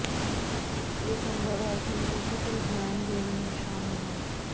ਇਹ ਸੰਭਵ ਹੈ ਕਿ ਮਲਟੀਪਲ ਜੈਨ ਵੇਰੀਐਂਟ ਸ਼ਾਮਲ ਹਨ